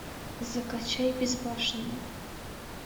закачай безбашенные